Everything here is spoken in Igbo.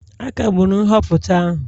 A kagburu nhọpụta ahụ